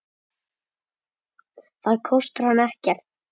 Það kostar hann ekkert.